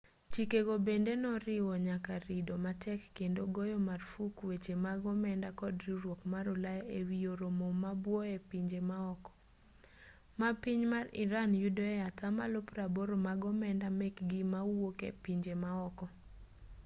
chikego bende noriwo nyaka rido matek kendo goyo marfuk weche mag omenda kod riwruok mar ulaya e wi oro mo ma buo e pinje maoko ma piny mar iran yudoe atamalo 80 mag omenda mekgi mawuok e pinje maoko